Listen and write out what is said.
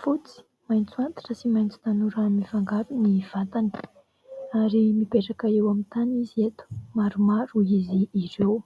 fotsy, maitso antitra sy maitso tanora mifangaro ny vatany ary mipetraka eo amin'ny tany izy eto ; maromaro izy ireo.